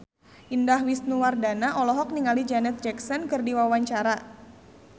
Indah Wisnuwardana olohok ningali Janet Jackson keur diwawancara